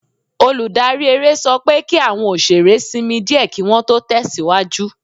Olùdarí eré sọ pé kí àwọn òṣèré sinmi díẹ̀ kí Wọ́n tó tẹ̀síwájú